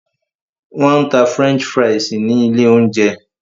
Wọn tá french fries ní ilé oúnjẹ